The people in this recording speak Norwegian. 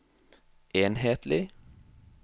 enhetlig